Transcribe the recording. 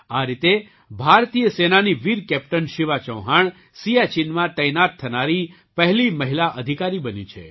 આ રીતે ભારતીય સેનાની વીર કૅપ્ટન શિવા ચૌહાણ સિયાચીનમાં તૈનાત થનારી પહેલી મહિલા અધિકારી બની છે